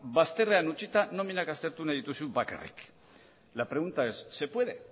bazterrean utzita nominak aztertu nahi dituzu bakarrik la pregunta es se puede